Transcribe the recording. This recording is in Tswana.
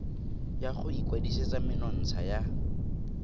ya go ikwadisetsa menontsha ya